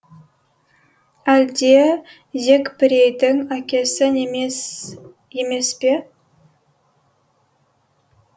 әлде зекпірейдің әкесі неміс емес пе